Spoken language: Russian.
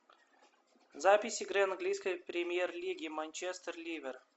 запись игры английской премьер лиги манчестер ливер